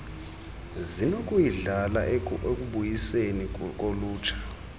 zinokuyidlala ekubuyiseni kolutsha